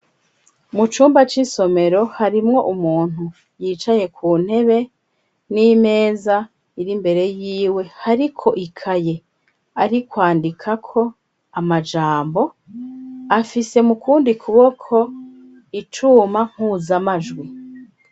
Mu cumba c'isomero harimwo umuntu yicaye ku ntebe n'imeza iri imbere yiwe hariko ikaye ari kwandikako amajambo, afise mu kundi kuboko icuma mpuzamajwi.